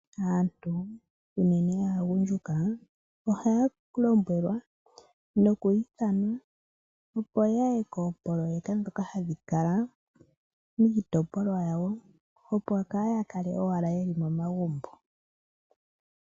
Aantu unene aagundjuka ohaya lombwelwa noku ithanwa, opo ya ye koopoloyeka ndhoka hadhi kala miitopolwa yawo, opo kaya kale owala ye li momagumbo.